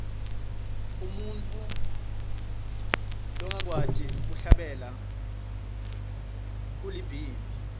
umuntfu longakwati kuhlabela ulibhimbi